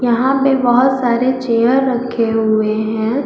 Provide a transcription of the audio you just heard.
यहां पे बहुत सारे चेयर रखे हुए हैं।